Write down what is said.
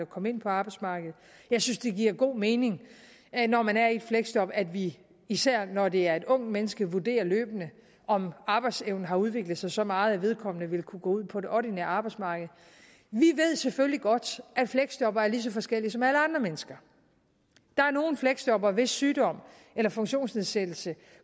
komme ind på arbejdsmarkedet jeg synes det giver god mening når man er i et fleksjob at vi især når det er et ungt menneske vurderer løbende om arbejdsevnen har udviklet sig så meget at vedkommende vil kunne gå ud på det ordinære arbejdsmarked vi ved selvfølgelig godt at fleksjobbere er lige så forskellige som alle andre mennesker der er nogle fleksjobbere hvis sygdom eller funktionsnedsættelse